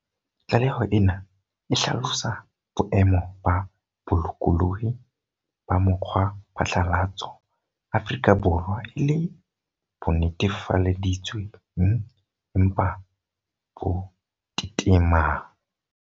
Tlaleho ena e hlalosa boemo ba bolokolohi ba mokgwaphatlalatso Afrika Borwa e le "bo netefaleditswe ng empa bo tetemang".